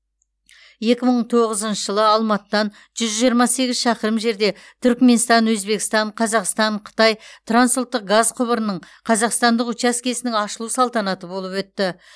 екі мың тоғызыншы жылы алматыдан жүз жиырма сегіз шақырым жерде түрікменстан өзбекстан қазақстан қытай трансұлттық газ құбырының қазақстандық учаскесінің ашылу салтанаты болып өтті